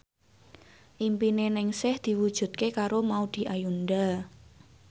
impine Ningsih diwujudke karo Maudy Ayunda